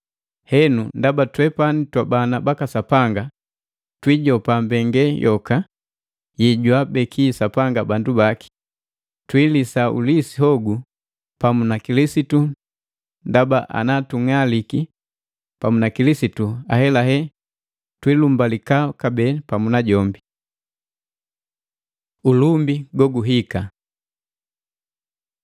Henu ndaba twepani twabana baka Sapanga, twiijopa mbengale yoka yejwaabeki Sapanga bandu baki, twiilisa ulisi hogu pamu na Kilisitu, ndaba ana tung'aliki pamu na Kilisitu ahelahe twiilumbalika kabee pamu na jombi. Ulumbi goguhika